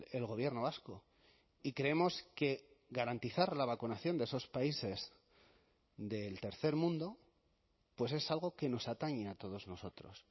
el gobierno vasco y creemos que garantizar la vacunación de esos países del tercer mundo pues es algo que nos atañe a todos nosotros